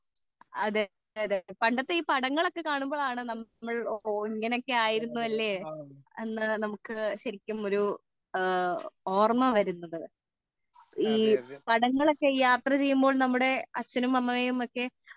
അതേ അതേ പണ്ടത്തെ ഈ പടങ്ങൾ ഓകെ കാണുമ്പോഴാണ് നമ്മൾ ഇങ്ങനെ ഒക്കെ ആയിരുന്നു അല്ലെ എന്നു നമുക്ക് ശരിക്കും ഒരു ഓർമ വരുന്നത് ഈ പടങ്ങൾ ഓകെ യാത്ര ചെയ്യുമ്പോൾ നമ്മുടെ അച്ഛനും അമ്മയും ഒക്കെ